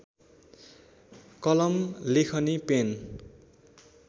कलम लेखनी पेन